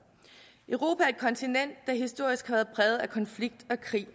europa er et kontinent der historisk har været præget af konflikt og krig